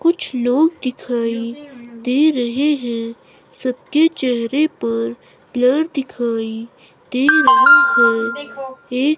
कुछ लोग दिखाई दे रहे हैं सबके चेहरे पर ब्लर दिखाई दे रहा है एक--